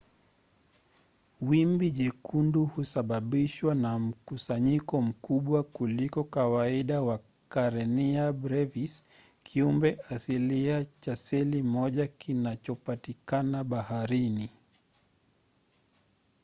wimbi jekundu husababishwa na mkusanyiko mkubwa kuliko kawaida wa karenia brevis kiumbe asilia cha seli moja kinachopatikana baharini